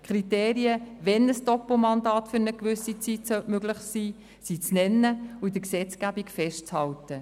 Die Kriterien, wann ein Doppelmandat für eine gewisse Zeit möglich sein soll, sind zu nennen und in der Gesetzgebung festzuhalten.